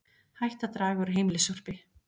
Hætt að draga úr heimilissorpi